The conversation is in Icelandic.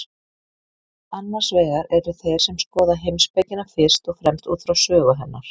Annars vegar eru þeir sem skoða heimspekina fyrst og fremst út frá sögu hennar.